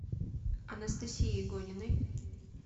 анастасии игониной